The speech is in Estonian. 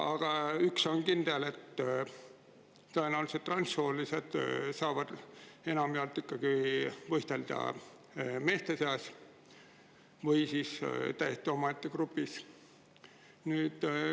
Aga üks on kindel: transsoolised saavad enamjaolt võistelda ikkagi meeste seas või siis täiesti omaette grupis.